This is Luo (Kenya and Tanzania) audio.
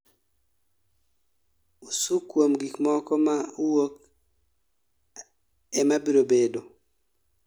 Usurkoum gikmoko ma wuok Ame biro bedo